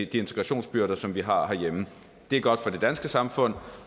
de integrationsbyrder som vi har herhjemme det er godt for det danske samfund